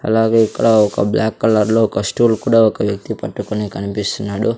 అలాగే ఇక్కడ ఒక బ్లాక్ కలర్ లో ఒక స్టూల్ కూడా ఒక వ్యక్తి పట్టుకుని కనిపిస్తున్నాడు.